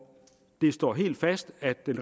det er